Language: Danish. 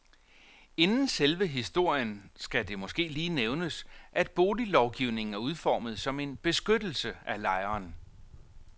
Inden selve historien skal det måske lige nævnes, at boliglovgivningen er udformet som en beskyttelse af lejeren.